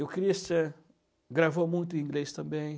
O Christian gravou muito em inglês também.